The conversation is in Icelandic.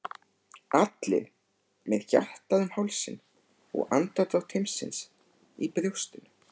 Sumir vilja halda öllum möguleikum opnum.